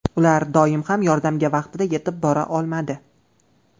Ular doim ham yordamga vaqtida yetib bora olmadi.